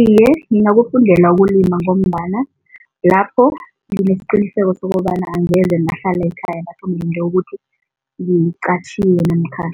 Iye, ngingakufundela ukulima ngombana lapho nginesiqiniseko sokobana angeze ngahlala ekhaya ngilinde ukuthi ngiqatjhiwe namkha